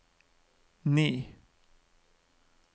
ni